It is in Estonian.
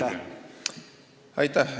Aitäh!